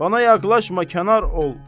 Bana yaxlaşma, kənar ol.